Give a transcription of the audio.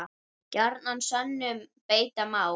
Gjarnan sönnum beita má.